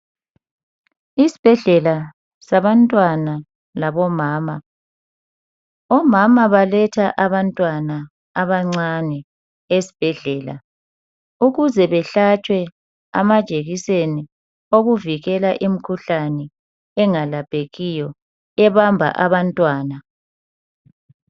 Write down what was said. Isibhedlela sabantwana labomama omama balethatha abantwana abancane esibhedlela ukuze behlatshwe amajekiseni wokuvikela imikhuhlane engelaphekiyo ebamba abantwana.